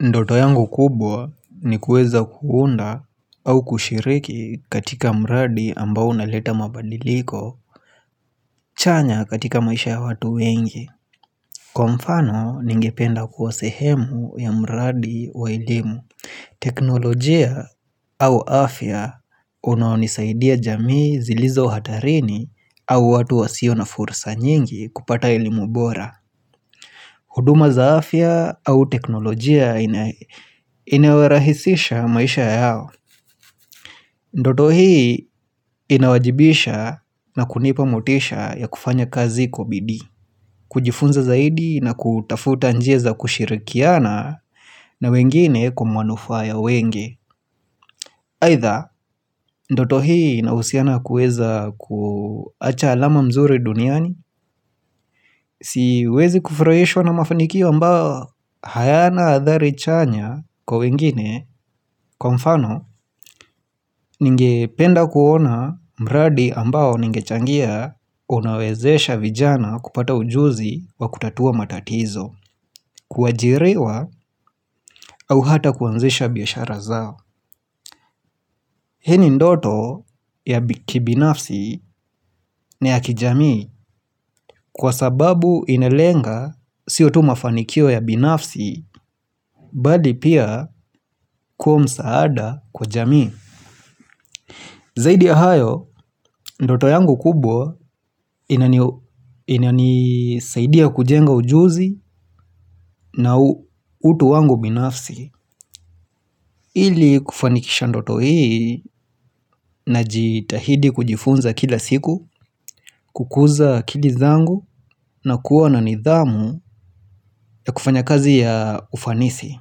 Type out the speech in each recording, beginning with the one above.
Ndoto yangu kubwa ni kuweza kuunda au kushiriki katika mradi ambao unaleta mabadiliko chanya katika maisha ya watu wengi. Kwa mfano ningependa kuwa sehemu ya mradi wa elimu, teknolojia au afya unaonisaidia jamii zilizo hatarini au watu wasio na furisa nyingi kupata elimu bora huduma za afya au teknolojia inawarahisisha maisha yao Ndoto hii inawajibisha na kunipa motisha ya kufanya kazi kwa bidii. Kujifunza zaidi na kutafuta njia za kushirikiana na wengine kwa manufaa ya wengi. Aidha, ndoto hii inahusiana kuweza kuacha alama mzuri duniani Siwezi kufurahishwa na mafanikio ambao hayana athari chanya kwa wengine. Kwa mfano, ningependa kuona mradi ambao ningechangia unawezesha vijana kupata ujuzi wa kutatua matatizo, kuajiriwa au hata kuanzisha biashara zao. Hii ni ndoto ya kibinafsi, ni ya kijamii. Kwa sababu inalenga sio tu mafanikio ya binafsi Bali pia kuwa msaada kwa jamii Zaidi ya hayo, ndoto yangu kubwa inanisaidia kujenga ujuzi na utu wangu binafsi. Ili kufanikisha ndoto hii najitahidi kujifunza kila siku kukuza akili zangu na kuwa na nidhamu ya kufanya kazi ya ufanisi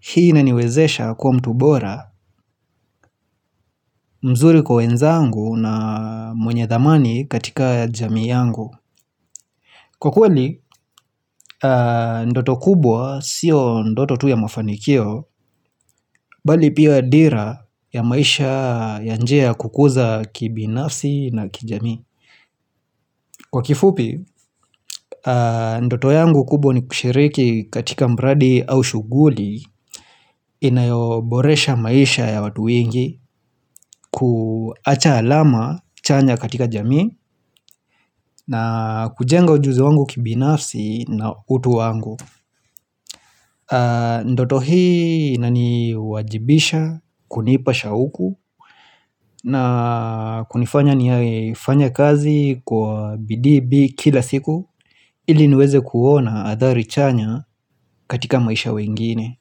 Hii inaniwezesha kuwa mtu bora mzuri kwa wenzangu na mwenye thamani katika jamii yangu. Kwa kweli ndoto kubwa sio ndoto tu ya mafanikio bali pia ya dira ya maisha ya njia ya kukuza kibinafsi na kijamii. Kwa kifupi ndoto yangu kubwa ni kushiriki katika mradi au shughuli inayoboresha maisha ya watu wengi kuacha alama chanya katika jami ba kujenga ujuzi wangu kibinafsi na utu wangu Ndoto hii inaniwajibisha, kunipa shauku na kunifanya nifanye kazi kwa bidii kila siku ili niweze kuona athari chanya katika maisha ya wengine.